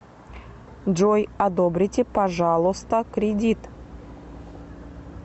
джой одобрите пажалоста кредит